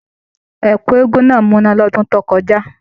Ẹkú eégún náà múná l'ọdun to kọjá.